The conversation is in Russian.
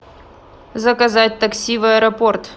заказать такси в аэропорт